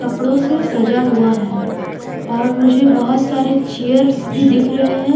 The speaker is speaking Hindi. कपड़ों से सजा हुआ है और मुझे बहुत सारे चेयर्स भी दिख रहे है।